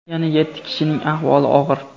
yana yetti kishining ahvoli og‘ir.